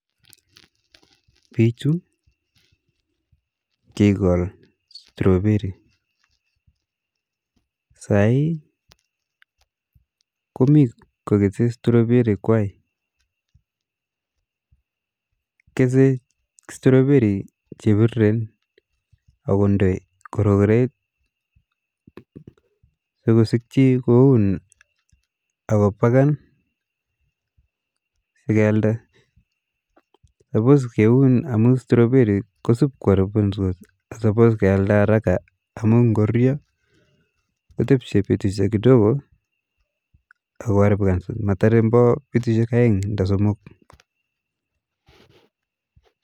Bichu kikol strawberry, saii komii kokese strawberry kwaak, kesee strawberry chebiriren ak konde rokoreet sikosikyi koun akobaken sikealda, suppose kiun amun strawberry kosib ko aribikandos ko suppose kealda araka amuun ng'oruryo kotepche betushek kidogo akoaribikan motoren olimbo betushek oeng ando somok.